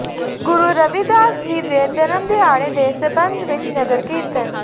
ਗੁਰੂ ਰਵਿਦਾਸ ਜੀ ਦੇ ਜਨਮ ਦਿਹਾੜੇ ਦੇ ਸਬੰਧ ਵਿਚ ਨਗਰ ਕੀਰਤਨ